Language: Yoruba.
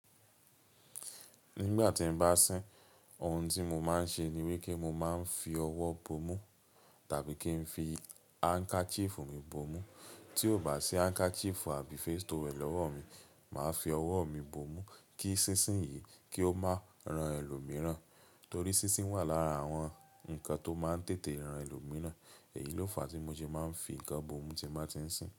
Nígbà tí n bá sín, ohun tí mo máa ń ṣe ní wípé mo máa ń fi ọwọ́ bomú tàbí kí n fi handkerchief mi bomú. Tí ò bá sí handkerchief àbí face towel lọ́wọ́ mi, màá fi ọwọ́ mi bomú kí sísín yìí kí ó máa ran ẹlòmíràn. Torí sínsin wà lára àwọn ǹkan tó máa ń tètè ran ẹlòmíràn. Èyí ló fàá tí mo ṣe máa ń fi ǹkan bomú tí mo bá ti ń sin.